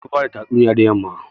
An fi bada tatsuniya da yamma